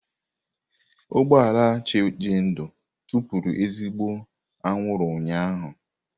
Ụgbọ ala Chijindu tụpụrụ ezigbo anwụrụ ụnyahụ.